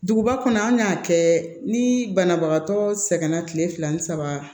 Duguba kɔnɔ an y'a kɛ ni banabagatɔ sɛgɛnna kile fila ni saba